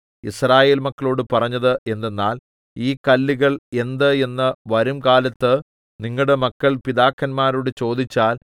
യിസ്രായേൽ മക്കളോട് പറഞ്ഞത് എന്തെന്നാൽ ഈ കല്ലുകൾ എന്ത് എന്ന് വരുംകാലത്ത് നിങ്ങളുടെ മക്കൾ പിതാക്കന്മാരോട് ചോദിച്ചാൽ